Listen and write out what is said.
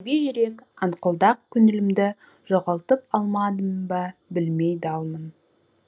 сәби жүрек аңқылдақ көңілімді жоғалтып алмадым ба білмей далмын